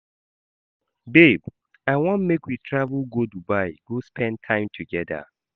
Babe, I want make we travel go Dubai go spend time togeda.